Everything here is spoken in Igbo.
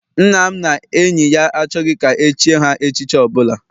Nna m na enyi ya achọghị ka echie ha echichi ọbụla.